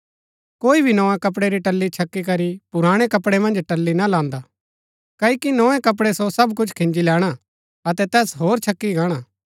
कोई भी नोए कपड़ै री टल्ली छकी करी पुराणै कपड़ै मन्ज टल्ली ना लान्दा क्ओकि नोए कपड़ै सो सब कुछ खिन्जी लैणा अतै तैस होर छकी गाणा